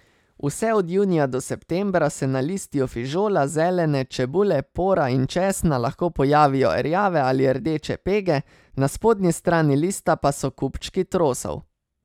Vse od junija do septembra se na listju fižola, zelene, čebule, pora in česna lahko pojavijo rjave ali rdeče pege, na spodnji strani lista pa so kupčki trosov.